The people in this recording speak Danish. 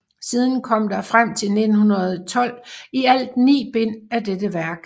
Siden kom der frem til 1912 i alt ni bind af dette værk